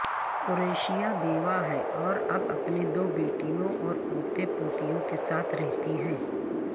قریشہ بیوہ ہیں اور اب اپنے دو بیٹوں اور پوتے پوتیوں کے ساتھ رہتی ہیں